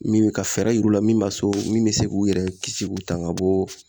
Min be ka fɛɛrɛ yiru la min b'a so min bɛ se k'u yɛrɛ kisi k'u tanga ka bɔ